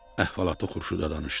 Əhvalatı Xurşuda danışdı.